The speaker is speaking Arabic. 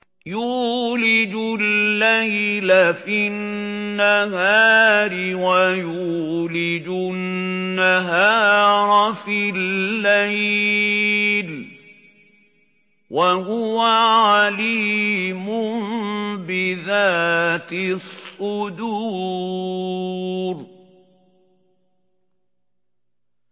يُولِجُ اللَّيْلَ فِي النَّهَارِ وَيُولِجُ النَّهَارَ فِي اللَّيْلِ ۚ وَهُوَ عَلِيمٌ بِذَاتِ الصُّدُورِ